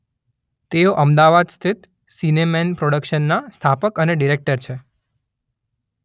તેઓ અમદાવાદ સ્થિત સિનેમેન પ્રોડકશનના સ્થાપક અને ડિરેક્ટર છે.